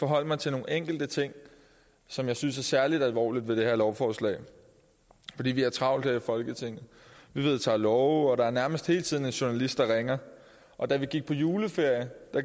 forholde mig til nogle enkelte ting som jeg synes er særlig alvorlige ved det her lovforslag vi vi har travlt her i folketinget vi vedtager love og der er nærmest hele tiden en journalist der ringer og da vi gik på juleferie